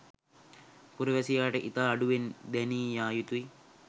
පුරවැසියාට ඉතා අඩුවෙන් දැනී යා යුතුයි.